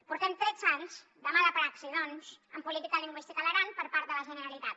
portem tretze anys de mala praxi doncs en política lingüística a l’aran per part de la generalitat